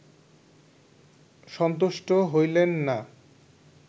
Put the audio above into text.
সন্তুষ্ট হইলেন না